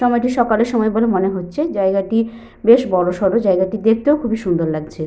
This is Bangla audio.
সময়টি সকালে সময় বলে মনে হচ্ছে। জায়গাটি বেশ বড় সড়ো। জায়গাটি দেখতেও খুবই সুন্দর লাগছে।